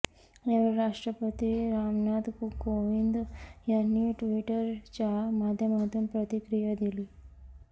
यावेळी राष्ट्रपती रामनाथ कोविंद यांनी ट्विटरच्या माध्यमातून प्रतिक्रिया दिली